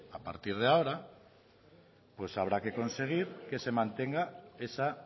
a partir de ahora pues habrá que conseguir que se mantenga esa